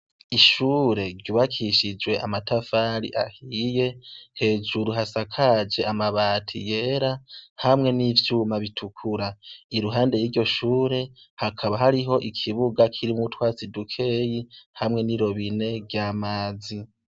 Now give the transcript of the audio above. Ishure ryubakishije amatafari ahiye, hejuru hashakaje amabati yera hamwe n'ivyuma bitukura. I ruhande y'iryo shure hakaba hariho ikibuga kirimwo utwatsi dukeyi hamwe n'irobine ry'amazi.